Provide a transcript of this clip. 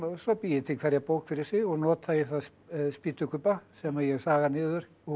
svo bý ég til hverja bók fyrir sig og nota í það spýtukubba sem ég saga niður úr